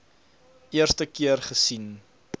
eerste keer gesien